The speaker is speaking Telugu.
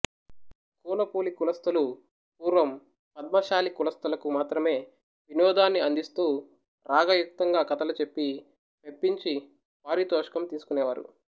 కూనపులి కులస్థులు పూర్వం పద్మశాలి కులస్థులకు మాత్రమే వినోదాన్ని అందిస్తూ రాగయుక్తంగా కథలు చెప్పి మెప్పించి పారితోషికం తీసుకునేవారు